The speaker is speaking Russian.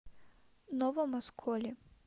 новом осколе